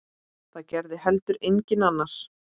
Það gerði heldur enginn annar.